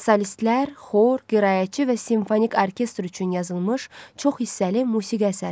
Solistlər, xor, qiraətçi və simfonik orkestr üçün yazılmış çox hissəli musiqi əsəri.